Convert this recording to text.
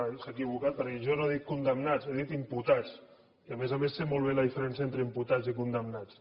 s’ha equivocat perquè jo no he dit condemnats he dit imputats i a més a més sé molt bé la diferència entre imputats i condemnats